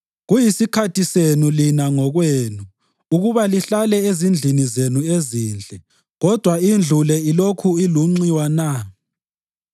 “Kuyisikhathi senu lina ngokwenu ukuba lihlale ezindlini zenu ezinhle, kodwa indlu le ilokhu ilunxiwa na?”